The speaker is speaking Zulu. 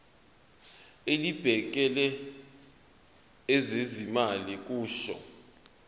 elibhekele ezezimali kusho